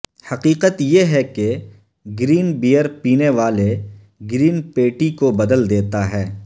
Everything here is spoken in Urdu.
حقیقت یہ ہے کہ گرین بیئر پینے والے گرین پیٹی کو بدل دیتا ہے